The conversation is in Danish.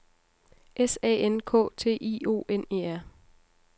S A N K T I O N E R